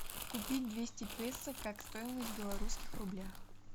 купить двести песо как стоимость в белорусских рублях